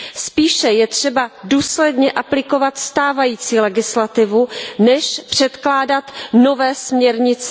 Spíše je třeba důsledně aplikovat stávající legislativu, než předkládat nové směrnice.